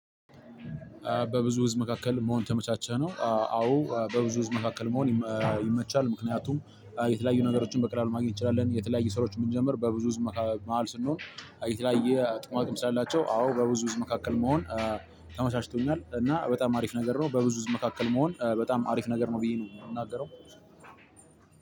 በብዙ ህዝብ መካከል መሆን የተመቻቸ ነው? አዎ በብዙ ህዝብ መካከል መሆን ይመቻል ምክንያቱም የተለያዩ ነገሮችን በቀላሉ ማግኘት እንችላለን። የተለያዩ ሰራዎችን ብንጀምር በብዙ ህዝብ መሃል ስንሆን የተለያየ ጥቅማ ጥቅም ስላላቸው አዎ። በብዙ ህዝብ መካከል መሆን እ ተመቻችቶኛል። እና እ በጣም አሪፍ ነገር ነው በብዙ ህዝብ መካከል መሆን እ በጣም አሪፍ ነገር ነው ብዬ ነው የምናገረው።